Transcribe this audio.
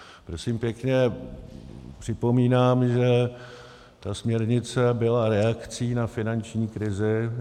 Prosím pěkně, připomínám, že ta směrnice byla reakcí na finanční krizi.